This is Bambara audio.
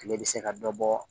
Tile bɛ se ka dɔ bɔ